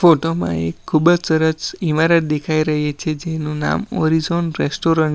photo માં એ ખૂબ જ સરસ ઈમારત દેખાઈ રહી છે જેનું નામ ઓરિઝોન રેસ્ટોરન્ટ --